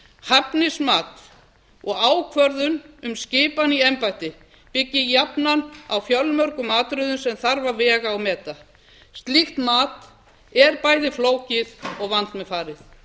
hæfnismat og ákvörðun um skipan í embætti byggir jafnan á fjölmörgum atriðum sem þarf að vega og meta slíkt mat er bæði flókið og vandmeðfarið